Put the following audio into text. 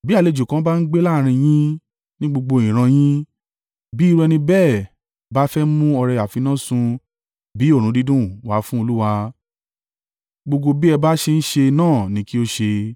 Bí àlejò kan bá ń gbé láàrín yín ní gbogbo ìran yín, bí irú ẹni bẹ́ẹ̀ bá fẹ́ mú ọrẹ àfinásun bí òórùn dídùn wá fún Olúwa, gbogbo bí ẹ bá ṣe ń ṣe náà ni kí ó ṣe.